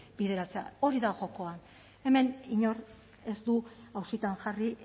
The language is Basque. bideratzea hori da jokoa hemen inork ez du auzitan jarri